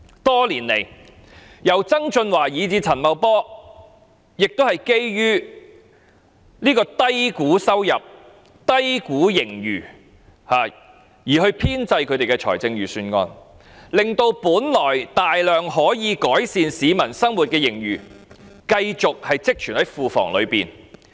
多年來，由曾俊華以至陳茂波，也是基於低估收入、低估盈餘而編製他們的預算案，令本來大量可以改善市民生活的盈餘，繼續積存在庫房內。